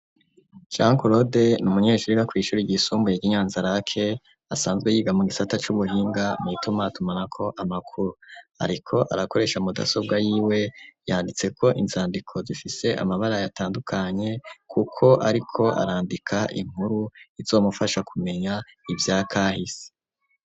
Jean claude ni umunyeshuri yiga kw'ishure ry'isumbuye ryo Nyzanza-lac, asanzwe yiga mu gisata c'ubuhinga ritumatunako amakuru. Ariko arakoresha mudasobwa yiwe yanditseko inzandiko zifise amabara yatandukanye kuko ariko arandika inkuru izomufasha kumenya ivya kahisi.